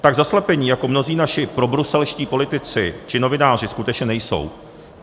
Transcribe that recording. Tak zaslepení jako mnozí naši probruselští politici či novináři skutečně nejsou.